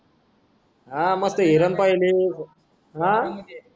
हा म ती हिरण पहिली हा